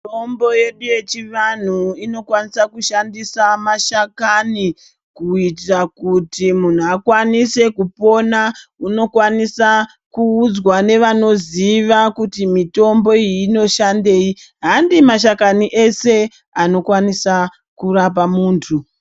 Mitombo yesu yechivanhu inokwanisa kushandisa mashakani kuyitira kuti muhnu akwanise kupona, unokwanisa kuwudzwa nevanoziva kuti mitombo iyi inoshandeyi. Handi mashakani eshe anokwanisa kurapa munthu.